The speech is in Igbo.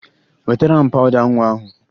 Wetara m pawụda nwa ahụ!